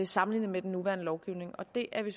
sammenlignet med den nuværende lovgivning og det er vi